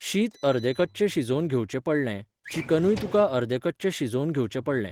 शीत अर्दे कच्चें शिजोवन घेवचें पडलें, चिकनूय तुका अर्दें कच्चें शिजोवन घेवचें पडलें.